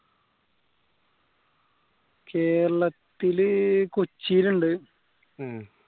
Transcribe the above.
കേരളത്തിലെ കൊച്ചിലുണ്ട്